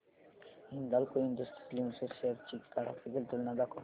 Hindalco industries limited shares ची graphical तुलना दाखव